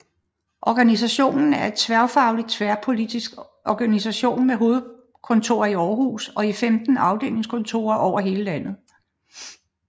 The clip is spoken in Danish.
Organisationen er en tværfaglig og tværpolitisk organisation med hovedkontor i Aarhus og 15 afdelingskontorer over hele landet